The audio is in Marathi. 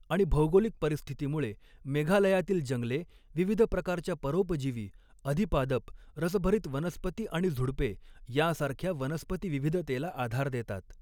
आणि भौगोलिक परिस्थितीमुळे, मेघालयातील जंगले विविध प्रकारच्या परोपजीवी, अधिपादप, रसभरित वनस्पती आणि झुडपे यासारख्या वनस्पती विविधतेला आधार देतात.